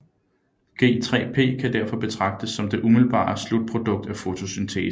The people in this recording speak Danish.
G3P kan derfor betragtes som det umiddelbare slutprodukt af fotosyntesen